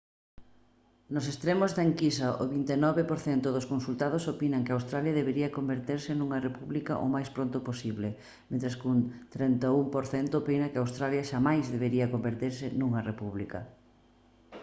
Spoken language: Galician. nos extremos da enquisa o 29 % dos consultados opinan que australia debería converterse nunha república o máis pronto posible mentres que un 31 % opina que australia xamais debería converterse nunha república